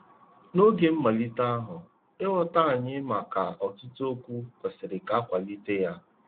N'oge mmalite ahụ, ịghọta anyị maka ọtụtụ okwu kwesịrị ka a kwalite ya.